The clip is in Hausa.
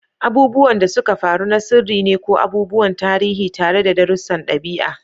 Abubuwan da suka faru na sirri ne ko abubuwan tarihi tare da darussan ɗabi'a